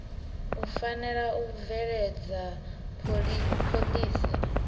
u fanela u bveledza phoḽisi